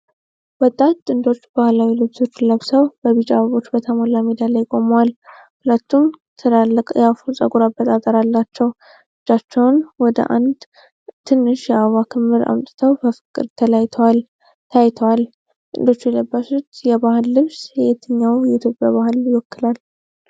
ወጣት ጥንዶች ባህላዊ ነጭ ልብሶችን ለብሰው በቢጫ አበባዎች በተሞላ ሜዳ ላይ ቆመዋል። ሁለቱም ትላልቅ የአፍሮ የፀጉር አበጣጠር አላቸው። እጃቸውን ወደ አንድ ትንሽ የአበባ ክምር አምጥተው በፍቅር ተያይተዋል። ጥንዶቹ የለበሱት የባህል ልብስ የትኛውን የኢትዮጵያ ባህል ይወክላል?